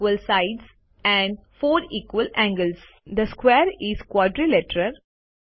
each angle in a square is ninety degrees the square is a quadrilateral